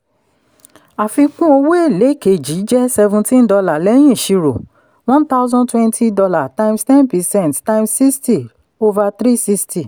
àfikún owó èlé kejì jẹ́ seventeen dollar lẹ́yìn iṣiro one thousand twenty dollar times ten percent times sixty over three sixty